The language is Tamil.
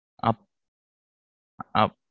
அப்ப